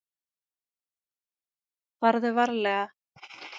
Farðu varlega!